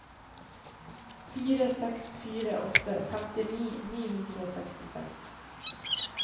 fire seks fire åtte femtini ni hundre og sekstiseks